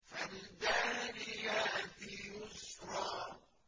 فَالْجَارِيَاتِ يُسْرًا